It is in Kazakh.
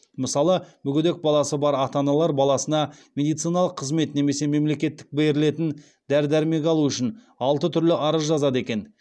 мысалы мүгедек баласы бар ата аналар баласына медициналық қызмет немесе мемлекеттен берілетін дәрі дәрмек алу үшін алты түрлі арыз жазады екен